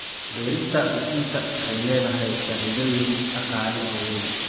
Beerista sisinta waxay leedahay faa'iidooyin dhaqaale oo weyn.